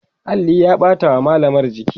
alli ya ɓata wa mallamar jiki